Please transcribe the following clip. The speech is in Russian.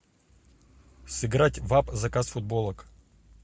сыграть в апп заказ футболок